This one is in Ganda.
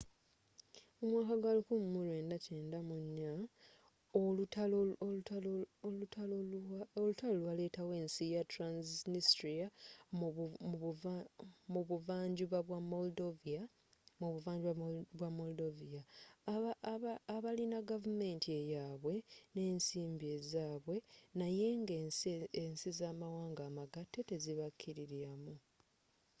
mu mwaka gwa 1994 olutalo lwalettawo ensi ya transnistria mu buvva njuba bwa moldovia abalina gavumenti eyabwe n'ensimbi ezzabwe naye nga ensi z'amawanga amagatte tezibakililiamu